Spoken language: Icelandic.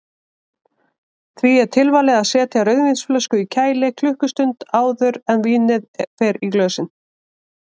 Því er tilvalið að setja rauðvínsflösku í kæli klukkustund áður en vínið fer í glösin.